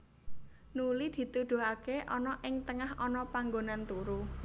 Nuli dituduhaké ana ing tengah ana panggonan turu